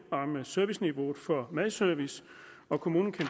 om serviceniveauet for madservice og kommunen kan